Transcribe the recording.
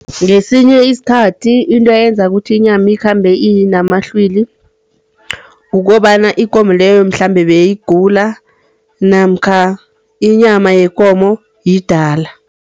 Ngesinye sikhathi into eyenza ukuthi inyama ikhambe inamahlwili, kukobana ikomo leyo mhlambe beyigula namkha inyama yekomo yidala.